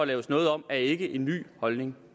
laves noget om er ikke en ny holdning